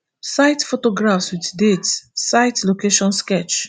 site photographs wit date site location sketch